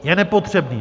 Je nepotřebný.